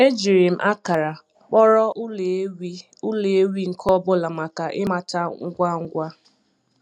Ejiri m akara kpọrọ ụlọ ewi ụlọ ewi nke ọ bụla maka ịmata ngwa ngwa.